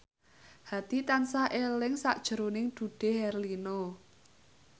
Hadi tansah eling sakjroning Dude Herlino